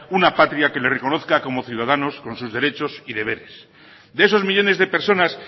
una patria que les reconozca como ciudadanos con sus derechos y deberes de esos millónes de personas